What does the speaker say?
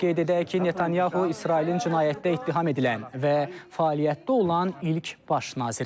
Qeyd edək ki, Netanyahu İsrailin cinayətdə ittiham edilən və fəaliyyətdə olan ilk baş naziridir.